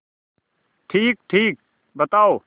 ठीकठीक बताओ